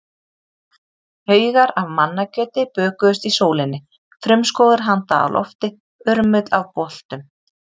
Haugar af mannakjöti bökuðust í sólinni, frumskógur handa á lofti, urmull af boltum.